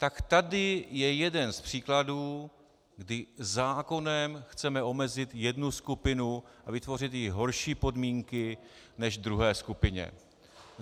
Tak tady je jeden z příkladů, kdy zákonem chceme omezit jednu skupinu a vytvořit jí horší podmínky než druhé skupině.